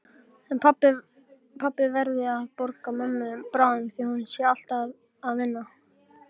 En pabbi verði að borga mömmu bráðum því hún sé alltaf að vinna.